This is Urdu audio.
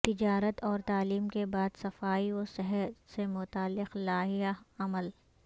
تجارت اور تعلیم کے بعد صفائی و صحت سے متعلق لائحہ عمل